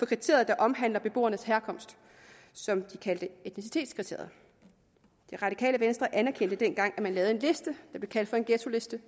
kriteriet der omhandler beboernes herkomst som de kaldte etnicitetskriteriet det radikale venstre anerkendte dengang at man lavede en liste der blev kaldt for en ghettoliste